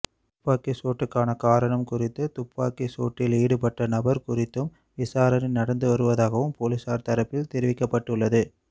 துப்பாக்கிச் சூட்டுக்கான காரணம் குறித்தும் துப்பாக்கிச் சூட்டில் ஈடுபட்ட நபர் குறித்தும் விசாரணை நடந்து வருவதாகவும் போலீஸார் தரப்பில் தெரிவிக்கப்பட்டுள்ளது